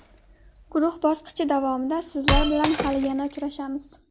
Guruh bosqichi davomida sizlar bilan hali yana uchrashamiz.